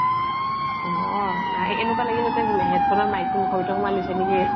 অহ নাই এনেকুৱা লাগি আছে তই এ headphone ৰ mic টো মুখৰ ভিতৰত সোমাই লৈছা নেকি।